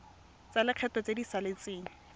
tsa lekgetho tse di saletseng